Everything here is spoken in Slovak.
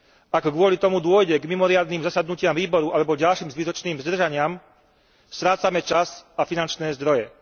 Ak z toho dôvodu dôjde k mimoriadnym zasadnutiam výboru, alebo k ďalším zbytočným zdržaniam, strácame čas a finančné zdroje.